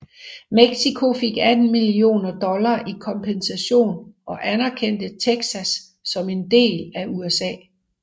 Mexico fik 18 millioner dollar i kompensation og anerkendte Texas som en del af USA